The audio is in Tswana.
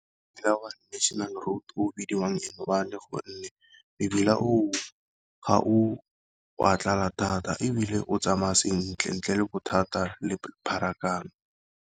National road o o bidiwang N one gonne mebila o o ga o a tlala thata, ebile o tsamaya sentle ntle le bothata le pharakano.